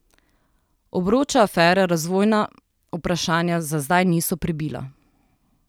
Obroča afere razvojna vprašanja za zdaj niso prebila.